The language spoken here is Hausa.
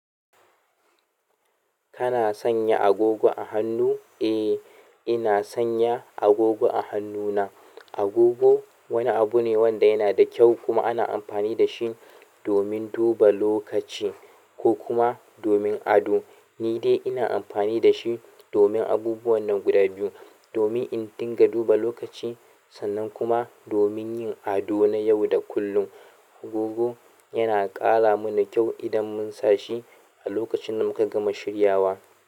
Kana sanya agogo a hannu? Eh, ina sanya agogo a hannuna. Agogo wani abu ne wanda yana da kyau kuma ana amfani da shi domin duba lokaci ko kuma domin ado. Ni dai ina amfani dashi domin abubuwan nan guda biyu, domin in dunga duba lokaci sannan kuma domin yin ado na yau da kullum. Agogo yana ƙara mana kyau idan mun sa shi a lokacin da muka gama shiryawa.